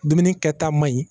Dumuni kɛta man ɲi